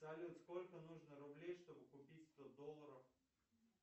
салют сколько нужно рублей чтобы купить сто долларов